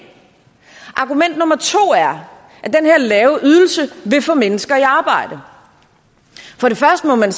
argument nummer to er at lave ydelse vil få mennesker i arbejde først må man